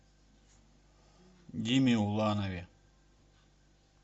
диме уланове